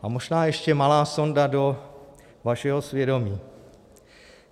A možná ještě malá sonda do vašeho svědomí.